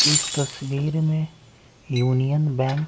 इस तस्वीर में यूनियन बैं--